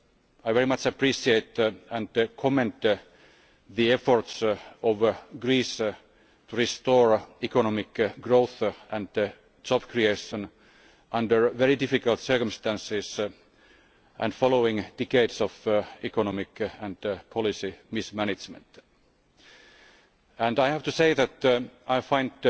I very much appreciate and commend the efforts of Greece to restore economic growth and job creation under very difficult circumstances and following decades of economic and policy mismanagement. I have to say that I find